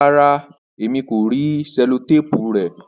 Ràrá, ẹ̀mi kò ríì sẹ̀lọ̀tàpù rè